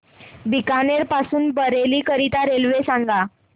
बीकानेर पासून बरेली करीता रेल्वे सांगा